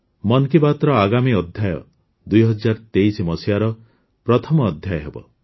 ମନ୍ କି ବାତ୍ର ଆଗାମୀ ଅଧ୍ୟାୟ ୨୦୨୩ର ପ୍ରଥମ ଅଧ୍ୟାୟ ହେବ